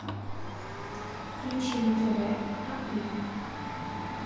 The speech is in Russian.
включи на тв аива